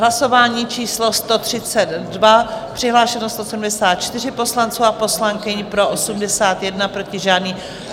Hlasování číslo 132, přihlášeni 174 poslanci a poslankyně, pro 81, proti žádný.